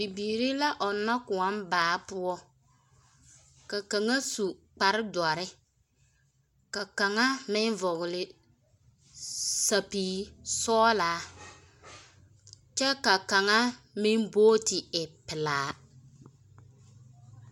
Bibiiri la ɔnnɔ kõɔ baa poɔ. Ka kaŋa su kpare doɔre ka kaŋa meŋ vɔgele sapigi sɔgelaa kyɛ ka kaŋa meŋ booti e pelaa.